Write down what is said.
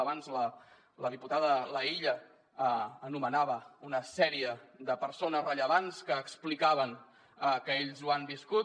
abans la diputada laïlla anomenava una sèrie de persones rellevants que explicaven que ells ho han viscut